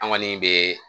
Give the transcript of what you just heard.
An kɔni bɛ